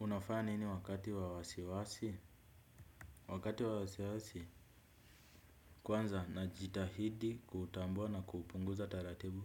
Unafanya nini wakati wa wasiwasi? Wakati wa wasiwasi, kwanza na jitahidi kuutambua na kuupunguza taratibu.